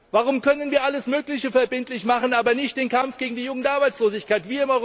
Warum können wir alles Mögliche verbindlich machen, aber nicht den Kampf gegen die Jugendarbeitslosigkeit?